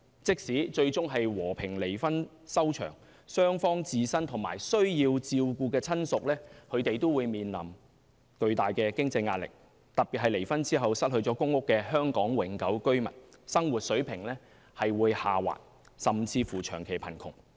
即使最終和平離婚收場，雙方自身和需要照顧的親屬也會面臨巨大的經濟壓力，特別是離婚後失去公共租住房屋的香港永久居民，生活水平會下滑，甚至長期貧窮。